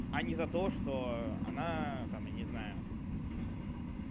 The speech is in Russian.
а не за то что она там я не знаю